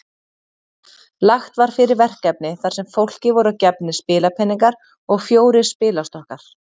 Lagt var fyrir verkefni þar sem fólki voru gefnir spilapeningar og fjórir spilastokkar.